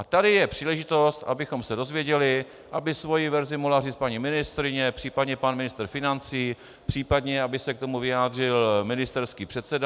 A tady je příležitost, abychom se dozvěděli, aby svoji verzi mohla říct paní ministryně, případně pan ministr financí, případně aby se k tomu vyjádřil ministerský předseda.